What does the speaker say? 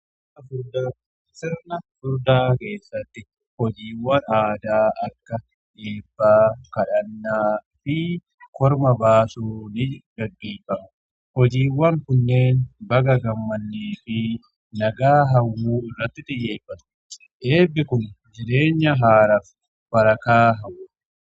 Sirna furdaa keessatti hojiiwwan aadaa akka eebbaa kadhannaa fi korma baasuu ni qabata. Hojiiwwan kunneen baga gammadne fi nagaa hawwuu irratti xiyyeeffatu. Eebbi kun jireenya haaraaf barakaa hawwa.